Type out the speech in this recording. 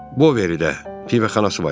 Boveridə pivəxanası var idi.